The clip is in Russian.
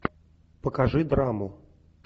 покажи драму